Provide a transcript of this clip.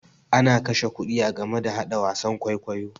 Ana kashe kuɗi a game da haɗa wasan kwaikwayo.